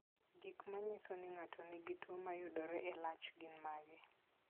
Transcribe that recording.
Gik manyiso ni ng'ato nigi tuwo mayudore e lach gin mage?